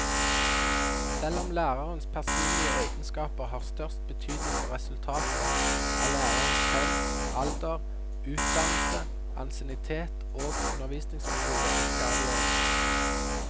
Selv om lærerens personlige egenskaper har størst betydning for resultatet, er lærerens kjønn, alder, utdannelse, ansiennitet og undervisningsmetoder ikke avgjørende.